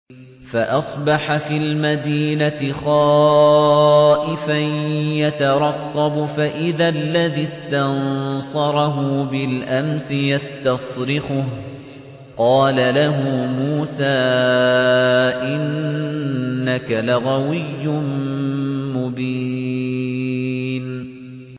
فَأَصْبَحَ فِي الْمَدِينَةِ خَائِفًا يَتَرَقَّبُ فَإِذَا الَّذِي اسْتَنصَرَهُ بِالْأَمْسِ يَسْتَصْرِخُهُ ۚ قَالَ لَهُ مُوسَىٰ إِنَّكَ لَغَوِيٌّ مُّبِينٌ